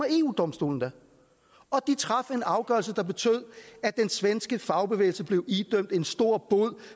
eu domstolen da og de traf en afgørelse der betød at den svenske fagbevægelse blev idømt en stor bod